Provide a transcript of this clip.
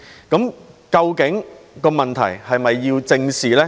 究竟這問題是否要得到正視呢？